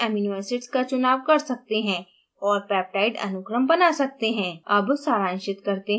आप अपनी पसंद के amino acids का चुनाव कर सकते हैं और peptide अनुक्रम बना सकते हैं